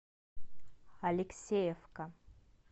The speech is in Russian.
алексеевка